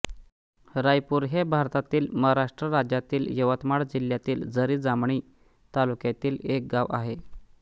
रायपूर हे भारतातील महाराष्ट्र राज्यातील यवतमाळ जिल्ह्यातील झरी जामणी तालुक्यातील एक गाव आहे